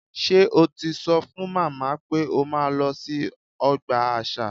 Ṣé o ti sọ fún màmá pé o máa lọ sí ọgbà àṣà?